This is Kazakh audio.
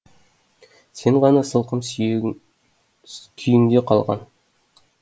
сен ғана сылқым күйіңде қалған